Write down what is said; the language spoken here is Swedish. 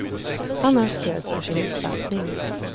Han har stöd för sin uppfattning.